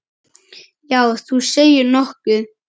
Já, þú segir nokkuð.